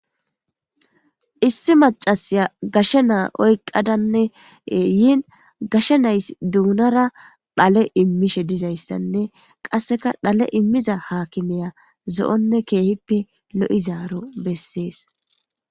issi macasiya gashe na oyqqadannee yin gashe nayes duunara dhale immishe dizayssanne qasseka dhale immiza haakimeya zo7onne keehippe lo7i zaaro bessees